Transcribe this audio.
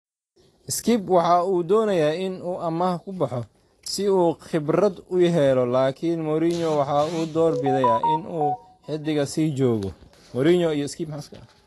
Skipp waxa uu doonayaa in uu amaah ku baxo si uu khibrad u helo laakiin Mourinho waxa uu door bidayaa in uu xiddiga sii joogo.